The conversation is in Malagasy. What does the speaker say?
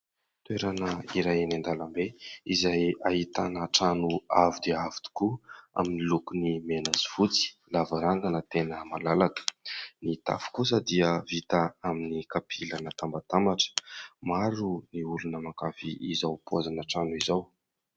Toerana iray eny an-dalambe izay ahitana trano avo dia avo tokoa, amin'ny lokony mena sy fotsy. Ny lavarangana tena malalaka. Ny tafo kosa dia vita amin'ny kapila natambatambatra. Maro ny olona mankafy izao paozina trano izao.